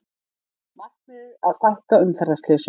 Markmiðið að fækka umferðarslysum